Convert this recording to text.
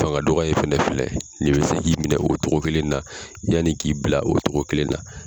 Fanga dɔgɔya in fɛnɛ filɛ nin bɛ se k'i minɛ o togo kelen na yann'i k'i bila o togo kelen na